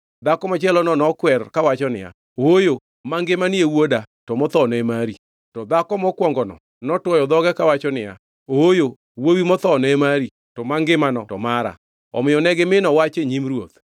Dhako machielono nokwer kawacho niya, “Ooyo! Mangimani e wuoda; to mothono e mari.” To dhako mokwongono notwoyo dhoge kawacho niya, “Ooyo! Wuowi mothono e mari; to mangimano to mara.” Omiyo ne gimino wach e nyim ruoth.